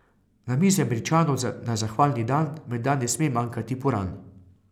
Na mizi Američanov na zahvalni dan menda ne sme manjkati puran.